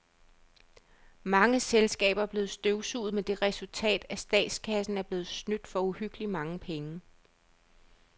Mange selskaber er blevet støvsuget med det resultat, at statskassen er blevet snydt for uhyggeligt mange penge.